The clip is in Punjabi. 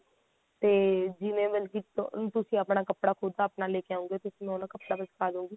ਤੇ ਜਿਵੇਂ ਮਤਲਬ ਕੀ ਤੁਸੀਂ ਆਪਣਾ ਕੱਪੜਾ ਖੁਦ ਆਪਣਾ ਲੈ ਕੇ ਆਉਣਗੇ ਥੋਨੂੰ ਉਹ ਕੱਪੜੇ ਤੇ ਸਿਖਾਦੂਂਗੀ